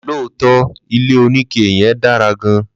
Lootọ ilé oní ike yen dára gan